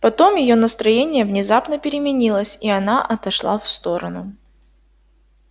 потом её настроение внезапно переменилось и она отошла в сторону